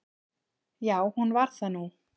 Já, hún varð það nú.